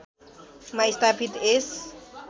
मा स्थापित यस